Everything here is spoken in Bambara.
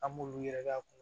An b'olu yɛrɛ lakana